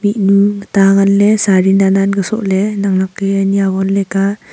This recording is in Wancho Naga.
enu ta nganley sari nannan ka sohley naknak ke ni awon leka.